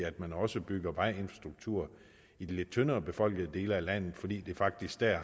at man også bygger vejinfrastruktur i de lidt tyndere befolkede dele af landet fordi det faktisk dér